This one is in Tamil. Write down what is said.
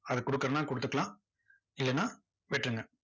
அதை கொடுக்குறதுன்னா கொடுத்துக்கலாம். இல்லன்னா விட்டுருங்க